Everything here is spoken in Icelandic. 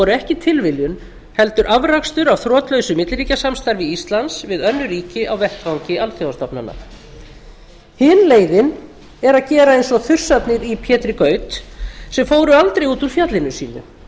ekki tilviljun heldur afrakstur af þrotlausu milliríkjasamstarfi íslands við önnur ríki á vettvangi alþjóðastofnana hin leiðin er að gera eins og þursarnir í pétri gaut sem fóru aldrei út úr fjallinu sínu